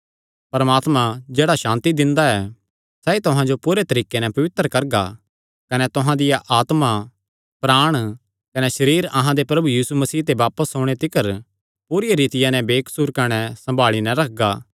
परमात्मा जेह्ड़ा सांति दिंदा ऐ सैई तुहां जो पूरे तरीके नैं पवित्र करगा कने तुहां दिया आत्मा प्राण कने सरीर अहां दे प्रभु यीशु मसीह दे बापस ओणे तिकर पूरी रितिया नैं बेकसूर कने सम्भाल़ी नैं रखगा